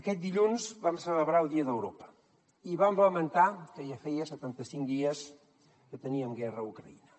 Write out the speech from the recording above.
aquest dilluns vam celebrar el dia d’europa i vam lamentar que ja feia setanta cinc dies que teníem guerra a ucraïna